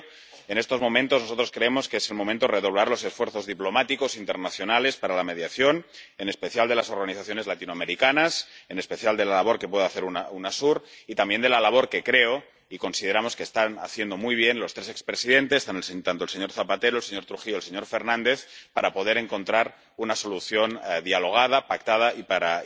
Por ello, nosotros creemos que es el momento de redoblar los esfuerzos diplomáticos internacionales para la mediación, en especial de las organizaciones latinoamericanas, en especial de la labor que puede hacer Unasur y también de la labor —que creo y consideramos que están haciendo muy bien— de los tres expresidentes —el señor Zapatero, el señor Trujillo y el señor Fernández— para poder encontrar una solución dialogada y pactada y para